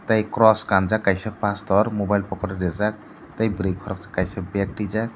tei cross kanjak kaisa pastor mobile pocket o reejak tei bwrui koroksa kaisa beg tuijak.